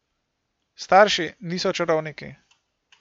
Starši niso čarovniki.